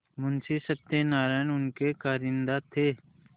मुंशी सत्यनारायण उनके कारिंदा थे